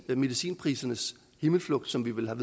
medicinprisernes himmelflugt som vi vel har